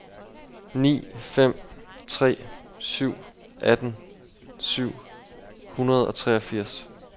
ni fem tre syv atten syv hundrede og treogfirs